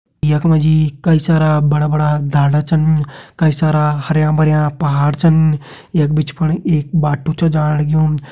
यख मा जी कई सारा बड़ा बड़ा ढाडा छन कई सारा हरयां भरयां पहाड़ छन यख बिच फण एक बाटु छ जाण लग्युं।